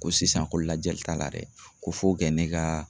Ko sisan ko lajɛli t'a la dɛ, ko fo kɛ ne ka